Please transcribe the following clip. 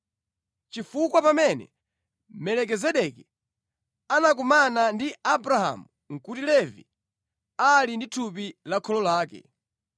chifukwa pamene Melikizedeki anakumana ndi Abrahamu nʼkuti Levi ali mʼthupi la kholo lake.